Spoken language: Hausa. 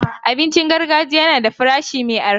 Abincin gargajiya yana da farashi mai arha.